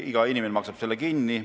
Iga inimene maksab selle kinni.